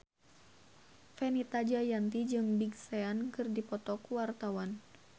Fenita Jayanti jeung Big Sean keur dipoto ku wartawan